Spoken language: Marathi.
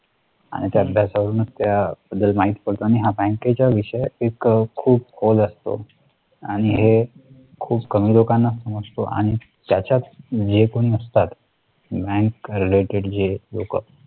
त्या बद्दल माहिती पडते आणि हा बँकेच्या विषय एक खूप खोल असतो आणि हे खूप कमी लोकांना समजतो आणि त्याच्यात म्हणजे जे कोणी असतात bank related जे लोकं